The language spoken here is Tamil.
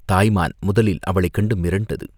தாய் மான் முதலில் அவளைக் கண்டு மிரண்டது.